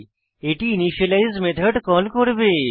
এটি initialise method call করবে